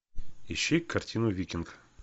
ищи картину викинг